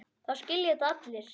Það skilja þetta allir.